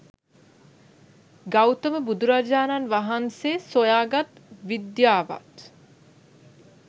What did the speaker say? ගෞතම බුදුරජාණන් වහන්සේ සොයාගත් විද්‍යාවත්